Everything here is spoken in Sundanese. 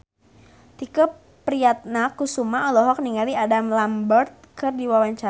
Tike Priatnakusuma olohok ningali Adam Lambert keur diwawancara